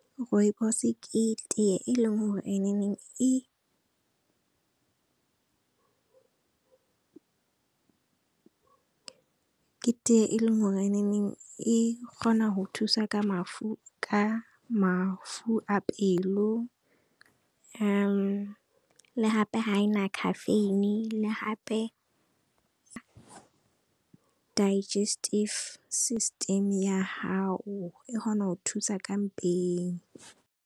Rooibos ke tea e leng gore e neng e ke tea e leng gore e kgona go thusa ka mafu a pelo, le gape ha e na khafeine le hape digestive system ya hao e kgona go thusa ka mpegang.